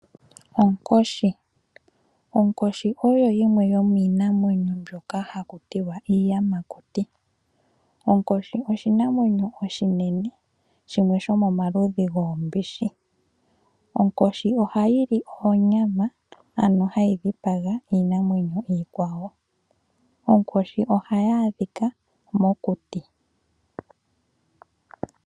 Onkoshi. Onkoshi oyo yimwe yo miinamwenyo mbyono ha ku tiwa iiyamakuti, onkoshi oshinamwenyo oshinene, shimwe shomomaludhi goombishi. Onkoshi oha yi li oonyama, ano ha yi dhipaga iinamwenyo iikwawo. Onkoshi oha yi adhika mokuti.